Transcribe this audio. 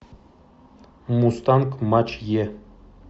мустанг матч е